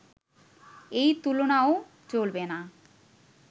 এই তুলনাও চলবে না